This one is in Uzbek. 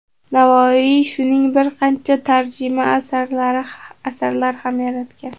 Navoiy shuning bir qancha tarjima asarlar ham yaratgan.